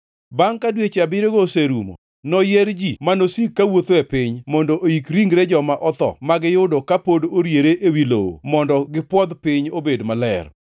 “ ‘Bangʼ ka dweche abiriyogo oserumo, noyier ji ma nosik kawuotho e piny mondo oik ringre joma otho ma giyudo ka pod oriere ewi lowo mondo gipwodh piny obed maler.